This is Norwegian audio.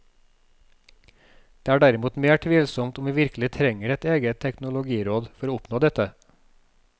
Det er derimot mer tvilsomt om vi virkelig trenger et eget teknologiråd for å oppnå dette.